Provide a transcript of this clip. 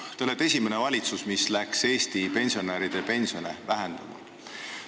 Teie valitsus on esimene valitsus, mis hakkas Eesti pensionäride pensione vähendama.